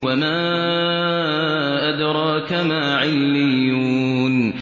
وَمَا أَدْرَاكَ مَا عِلِّيُّونَ